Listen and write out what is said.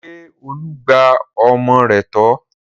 Ṣé Olú gba ọmọ rẹ̀ tọ́?